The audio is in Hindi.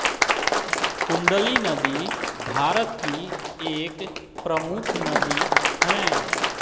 कुंडली नदी भारत की एक प्रमुख नदी हैं